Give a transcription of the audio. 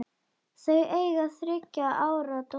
Þau eiga þriggja ára dóttur.